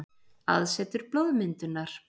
Aðsetur blóðmyndunar.